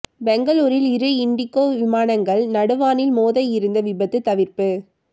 பெங்களூரில் இரு இண்டிகோ விமானங்கள் நடு வானில் மோத இருந்த விபத்து தவிர்ப்பு